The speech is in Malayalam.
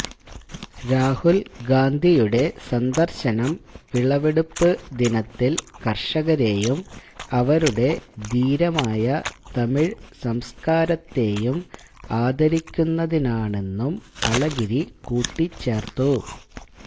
രാഹുൽ ഗാന്ധിയുടെ സന്ദർശനം വിളവെടുപ്പ് ദിനത്തിൽ കർഷകരെയും അവരുടെ ധീരമായ തമിഴ് സംസ്കാരത്തെയും ആദരിക്കുന്നതിനാണെന്നും അളഗിരി കൂട്ടിച്ചേർത്തു